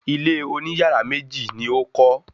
Ilé oní yàrá méjì ni ó kọ́